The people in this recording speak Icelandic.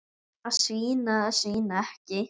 Að svína eða svína ekki.